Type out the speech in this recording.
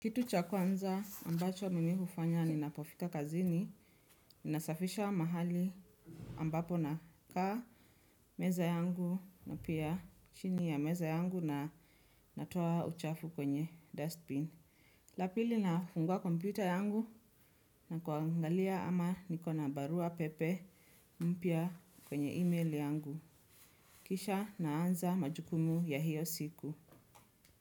Kitu cha kwanza ambacho mimi hufanya ni napofika kazini, ni nasafisha wa mahali ambapo na kaa meza yangu na pia chini ya meza yangu na natoa uchafu kwenye dustbin. Lapili nafungua kompyuta yangu na kuangalia ama nikona barua pepe mpya kwenye email yangu. Kisha naanza majukumu ya hiyo siku.